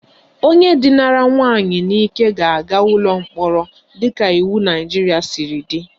Onye dinara nwaanyị n'ike ga-aga ụlọ mkpọrọ dịka iwu Naijiria siri dị